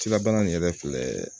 Cilabaa in yɛrɛ filɛ